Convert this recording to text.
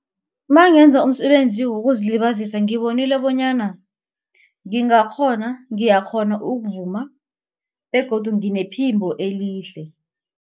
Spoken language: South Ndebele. Mangenza umsebenzi wokuzilibazisa ngibonile bonyana ngingakghona ngiyakghona ukuvuma begodu nginephimbo elihle.